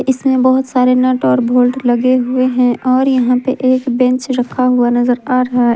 इस में बहुत सारे नट और बोल्ट लगे हुए हैं और यहाँ पे एक बेंच रखा हुआ नज़र आ रहा है।